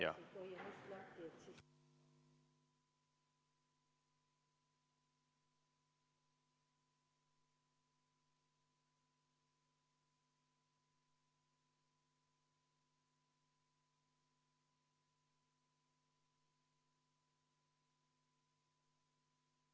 Head kolleegid, vaheaeg on läbi.